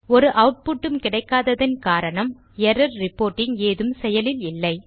ஒரு ஆட்புட் உம் கிடைக்கததின் காரணம் எர்ரர் ரிப்போர்ட்டிங் ஏதும் செயலில் இல்லை